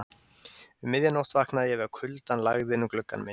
Um miðja nótt vaknaði ég við að kuldann lagði inn um gluggann minn.